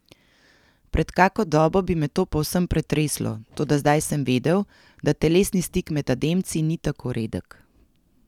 Pred kako dobo bi me to povsem pretreslo, toda zdaj sem vedel, da telesni stik med Ademci ni tako redek.